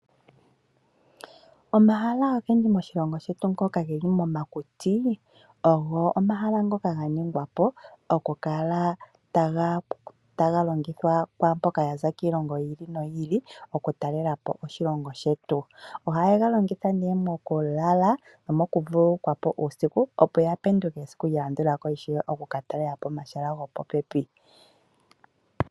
Omahala ogendji moshilongo shetu ngoka geli momakuti, ogo omahala ngoka ga ningwa po oku kala taga longithwa kwaamboka yaza kiilongo yi ili noyi ili oku talela po oshilongo shetu. Ohaye ga longitha nee moku lala nomoku vululukwa po uusiku, opo ya penduke ishewe esiku lya landula ko oku ka talela po omahala gopopepi.